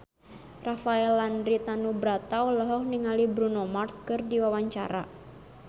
Rafael Landry Tanubrata olohok ningali Bruno Mars keur diwawancara